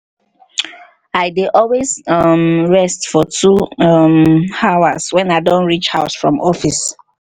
i dey always um rest for two um hrs when i don reach house from office